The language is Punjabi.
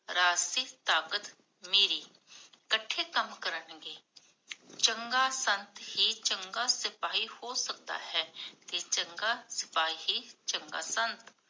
ਰਾਜਸੀ ਤਾਕਤ ਮੇਰੀ, ਕਠੇ ਕਾਮ ਕਰਨਗੇ ਚੰਗਾ ਸੰਤ ਹੀ ਚੰਗਾ ਸਿਪਾਹੀ ਹੋ ਸਕਦਾ ਹੈ ਤੇ ਚੰਗਾ ਸਿਪਾਹੀ ਹੀ ਚੰਗਾ ਸੰਤ